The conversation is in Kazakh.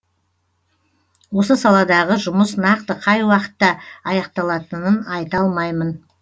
осы саладағы жұмыс нақты қай уақытта аяқталатынын айта алмаймын